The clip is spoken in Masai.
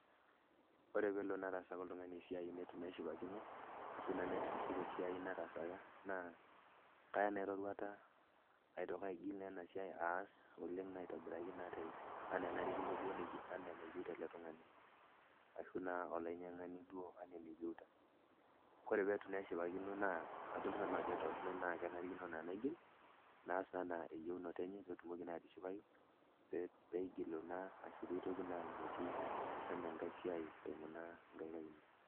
Ore pee elo nataasaka oltung'ani esiai neitu naa eshipakino ashu naa nitu itiship esiai nataasaka naa kaya naa eroruata aitoki aigil naa ena siai aas oleng' naa aitobiraki naa ena enarikinoto enaa enayio tele tung'ani ashu naa olainying'ani duo ena eneyieuta. Ore pee itu eshipakino naa adol sinanu ajo torrono naa kenarikino naa naigil naas naa enaa eyieunoto enye pee etumoki naa atishipayu pee eigilu naa ashu pee itoki naa aipotu enkae siai eiimu naa nkaik ainei.